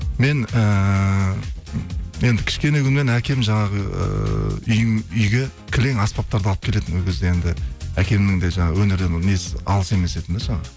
мен ііі енді кішкене күннен әкем жаңағы ыыы үйге кілең аспаптарды алып келетін ол кезде енді әкемнің де жаңағы өнерден несі алыс емес жаңағы